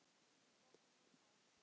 Þá stoppa menn bara.